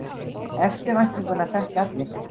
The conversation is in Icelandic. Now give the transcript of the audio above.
Eftirvæntinguna þekkja allir.